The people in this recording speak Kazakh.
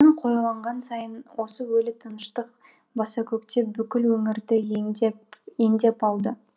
қоюланған сайын осы өлі тыныштық басакөктеп бүкіл өңірді ендеп алды